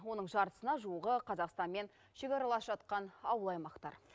оның жартысына жуығы қазақстанмен шекаралас жатқан ауыл аймақтар